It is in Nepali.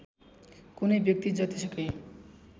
कुनै व्यक्ति जतिसुकै